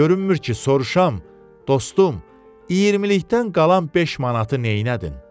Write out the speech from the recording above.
Görünmür ki, soruşam: dostum, iyirmilikdən qalan 5 manatı nədin?